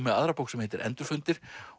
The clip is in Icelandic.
með aðra bók sem heitir endurfundir